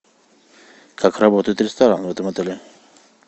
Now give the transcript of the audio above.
как работает ресторан в этом отеле